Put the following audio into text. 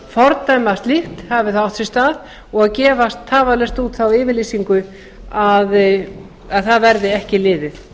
fordæma slíkt hafi það átt sér stað og gefa tafarlaust út þá yfirlýsingu að það verði ekki liðið